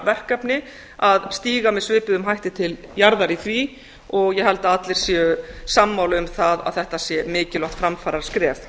verkefni að stíga með svipuðum hætti til jarðar í því og ég held að allir séu sammála um það að þetta sé mikilvægt framfaraskref